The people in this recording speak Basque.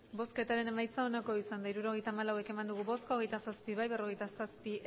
emandako botoak hirurogeita hamalau bai hogeita zazpi ez berrogeita zazpi